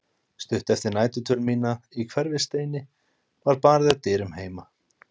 Stuttu eftir næturdvöl mína í Hverfisteini var barið að dyrum heima.